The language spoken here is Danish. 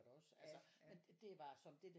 Der kan du putte sådan en sticks i ja ja